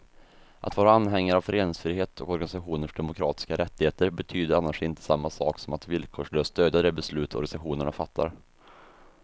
Att vara anhängare av föreningsfrihet och organisationers demokratiska rättigheter betyder annars inte samma sak som att villkorslöst stödja de beslut organisationerna fattar.